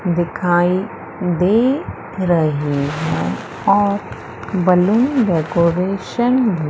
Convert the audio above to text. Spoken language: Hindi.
दिखाई दे रही है और बलून डेकोरेशन भी--